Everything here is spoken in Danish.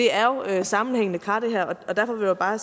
er jo sammenhængende kar og derfor vil jeg bare